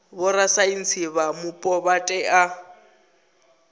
vhorasaintsi vha mupo vha tea